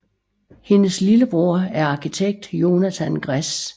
Hendes lillebror er arkitekt Jonathan Gress